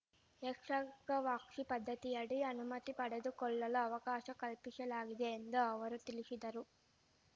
ಏಕ್ಷಗವಾಕ್ಷಿ ಪದ್ಧತಿಯಡಿ ಅನುಮತಿ ಪಡೆದುಕೊಳ್ಳಲು ಅವಕಾಶ ಕಲ್ಪಿಶಲಾಗಿದೆ ಎಂದು ಅವರು ತಿಳಿಶಿದರು